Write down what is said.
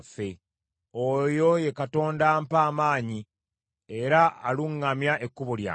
Oyo ye Katonda ampa amaanyi era aluŋŋamya ekkubo lyange.